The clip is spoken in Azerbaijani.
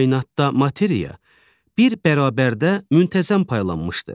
Kainatda materiya bir bərabərdə müntəzəm paylanmışdır.